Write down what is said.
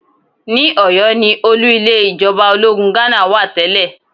Ní Ọ̀yọ́ ni olú ilé ìjọba ológun Ghánà wà tẹ́lẹ̀